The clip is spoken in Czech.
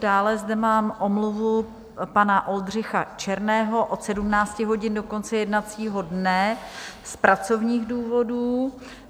Dále zde mám omluvu pana Oldřicha Černého od 17 hodin do konce jednacího dne z pracovních důvodů.